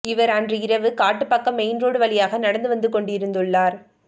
இவர் அன்று இரவு காட்டுப்பாக்கம் மெயின் ரோடு வழியாக நடந்து வந்து கொண்டிருந்துள்ளார்